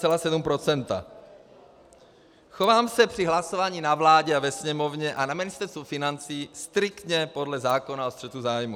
Chovám se při hlasování na vládě a ve Sněmovně a na Ministerstvu financí striktně podle zákona o střetu zájmů.